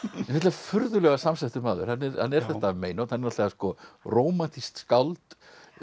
furðulega samsettur maður hann er þetta meinhorn hann er rómantískt skáld